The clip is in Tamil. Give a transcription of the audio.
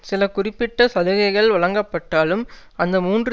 சில குறிப்பிட்ட சலுகைகள் வழங்கப்பட்டாலும் அந்த மூன்று